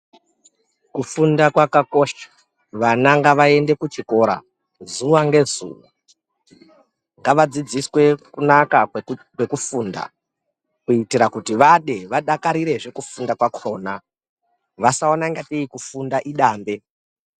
Kufunda kwakakosha vana ngavaende kuchikora, zuva ngezuva ngavadzidziswe kunaka kwekufunda kuitira kuti vade, vadakarirezve kufunda kwakona, vasaona sekuti kufunda idange.